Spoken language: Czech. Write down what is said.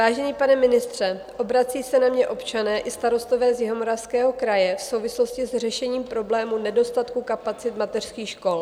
Vážený pane ministře, obracejí se na mě občané i starostové z Jihomoravského kraje v souvislosti s řešením problému nedostatku kapacit mateřských škol.